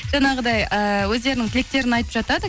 жаңағыдай э өздерінің тілектерін айтып жатады